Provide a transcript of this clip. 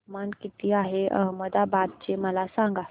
तापमान किती आहे अहमदाबाद चे मला सांगा